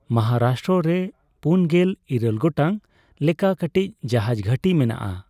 ᱢᱚᱦᱟᱨᱟᱥᱴᱨᱚ ᱨᱮ ᱯᱩᱱᱜᱮᱞ ᱤᱨᱟᱹᱞ ᱜᱚᱴᱟᱝ ᱞᱮᱠᱟ ᱠᱟᱹᱴᱤᱡ ᱡᱟᱦᱟᱡᱽ ᱜᱷᱟᱹᱴᱤ ᱢᱮᱱᱟᱜᱼᱟ ᱾